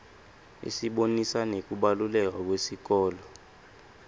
isibonisa nekubaluleka kwesikolo